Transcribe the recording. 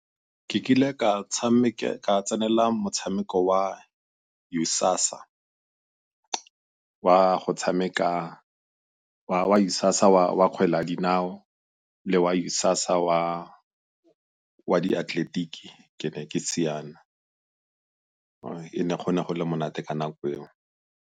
Ke kile ka tsenela motshameko wa ISASA wa go tshameka, wa ISASA wa kgwele ya dinao le wa ISASA wa diatleletiki, ke ne siana, go ne go le monate ka nako eo.